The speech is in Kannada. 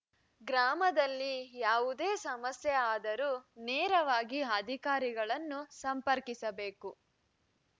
ಗ್ರಾಮದಲ್ಲಿ ಯಾವುದೇ ಸಮಸ್ಯೆ ಆದರೂ ನೇರವಾಗಿ ಅಧಿಕಾರಿಗಳನ್ನು ಸಂಪರ್ಕಿಸಬೇಕು